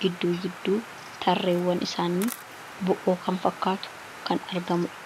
gidduu gidduu tarreewwan isaanii bo'oo kan fakkaatu kan argamudha.